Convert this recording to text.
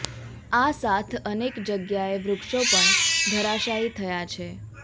આ સાથ અનેક જગ્યાએ વૃક્ષો પણ ધરાશાયી થયા છે